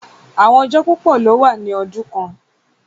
Àwọn ọjọ̀ púpọ̀ lọ wà ní ọdún kàn